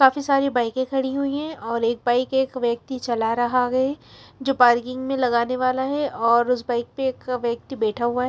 काफी सारी बाईकें खड़ी हुई हैं और एक बाइक एक व्यक्ति चला रहा है जो पार्किंग में लगाने वाला है और उस बाइक पे एक व्यक्ति बैठा हुआ --